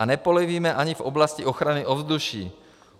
A nepolevíme ani v oblasti ochrany ovzduší.